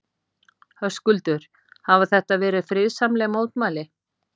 Höskuldur, hafa þetta verið friðsamleg mótmæli?